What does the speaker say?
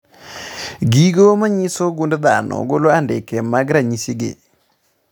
Gigo manyiso gund dhano golo andike mag ranyisi gi